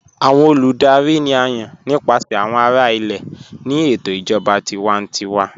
Awọn olùdárì ni à yán nípasẹ̀ awọn ará ilẹ̀ ní ètò ìjọba tìwàntíwà.